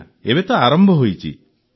ଆଜ୍ଞା ଏବେ ତ ଆରମ୍ଭ ହୋଇଯାଇଛି